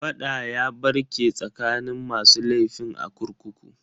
Fada ya barke tsakanin masu laifin a kurkukun.